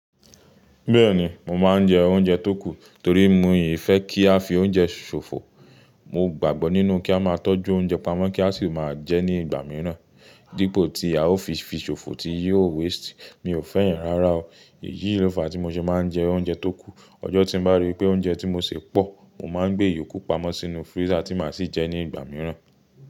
Bẹ́ẹ̀ni, mo máa ń jẹ oúnjẹ tó kù torí mi ò fẹ́ kí a fi oúnjẹ ṣòfò. Mo gbàgbọ́ nínú kí a máa tọ́jú oúnjẹ pamọ́ kí a sì máa jẹ ẹ́ ní ìgbà mìíràn dípò tí a ó fi fi ṣòfò tí yóò waste. Mi ò fẹ́ yẹn rárá o. Èyí ló fa tí mo ṣe máa ń jẹ oúnjẹ tó kù. Ọjọ́ tí n bá ríi pé oúnjẹ tí mo sè pọ̀, mo máa gbé ìyókù pamọ́ sínú freezer tí màá sì jẹ́ ní ìgbà mìíràn.